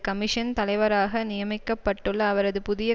commission தலைவராக நியமிக்கப்பட்டுள்ள அவரது புதிய